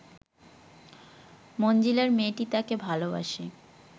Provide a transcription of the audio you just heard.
মনজিলার মেয়েটি তাকে ভালোবাসে